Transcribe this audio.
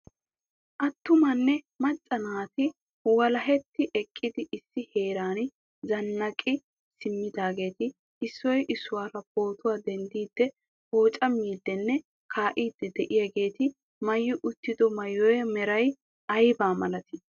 attumanne macca naati wlahetti eqqidi issi heeran zannaqqi simmidaageeti issoy issuwaara poottuwa denttidi pooccamidinne kaa'idi de'iyaageeti mayyi uttido maayyuwa meray aybba malati?